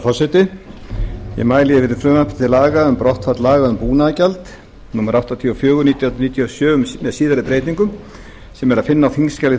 forseti ég mæli fyrir frumvarpi til laga um brottfall laga um búnaðargjald númer áttatíu og fjögur nítján hundruð níutíu og sjö með síðari breytingum sem er að finna á þingskjali þrjátíu